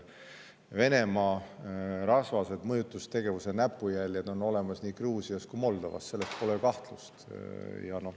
Venemaa rasvased mõjutustegevuse näpujäljed on olemas nii Gruusias kui ka Moldovas, selles pole kahtlust.